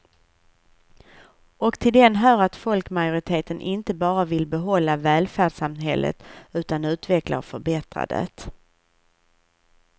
Och till den hör att folkmajoriteten inte bara vill behålla välfärdssamhället utan utveckla och förbättra det.